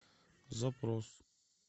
запрос